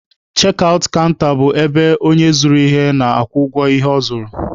Chek aụt kanta bụ ebe onye zụrụ ihe na-akwụ ụgwọ ihe ọ zụrụ.